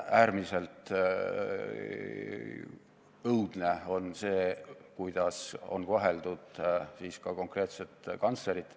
Äärmiselt õudne on see, kuidas on koheldud ka konkreetset kantslerit.